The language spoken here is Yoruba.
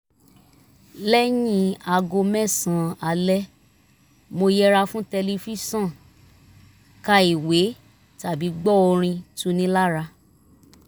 lẹ́yìn aago mẹ́sàn-án alẹ́ mo yẹra fún tẹlifíṣọ̀n ka ìwé tàbí gbọ́ orin tuni lára